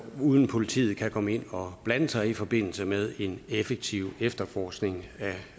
uden at politiet kan komme ind og blande sig i forbindelse med en effektiv efterforskning